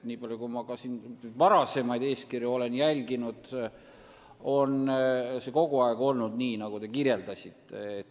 Nii palju kui ma olen jälginud varasemaid eeskirju, on see kogu aeg olnud nii, nagu te kirjeldasite.